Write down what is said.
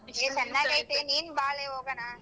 ನೀನ್ ಬಾಳೆ ಹೋಗಣ.